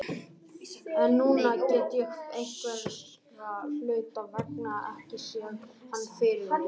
En núna get ég einhverra hluta vegna ekki séð hann fyrir mér.